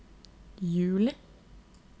juli